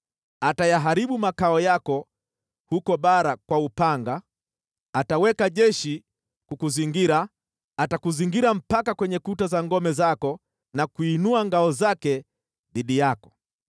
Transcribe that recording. Atayaharibu makao yako huko bara kwa upanga, ataweka jeshi kukuzingira, atakuzingira mpaka kwenye kuta za ngome zako na kuinua ngao zake dhidi yako.